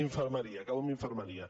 infermeria acabo amb infermeria